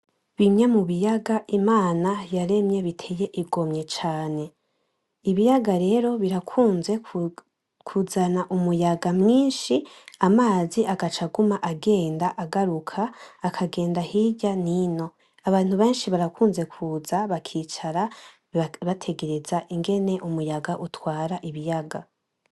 Bimwe mubiyaga Imana yaremye biteye igomwe cane. Ibiyaga rero birakunze kuzana umuyaga mwinshi, amazi agaca aguma agenda agaruka ,agenda hirya nino abantu benshi barakunze kuza bakicara bitegereza ingene umuyaga utwara ibiyaga.